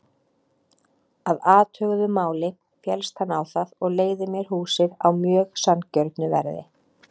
Að athuguðu máli féllst hann á það og leigði mér húsið á mjög sanngjörnu verði.